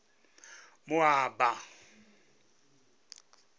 moaba